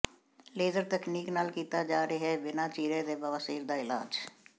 laser ਤਕਨੀਕ ਨਾਲ ਕੀਤਾ ਜਾ ਰਿਹੈ ਬਿਨਾ ਚੀਰੇ ਦੇ ਬਵਾਸੀਰ ਦਾ ਇਲਾਜ